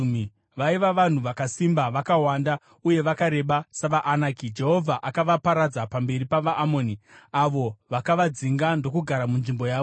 Vaiva vanhu vakasimba, vakawanda, uye vakareba savaAnaki. Jehovha akavaparadza pamberi pavaAmoni, avo vakavadzinga ndokugara munzvimbo yavo.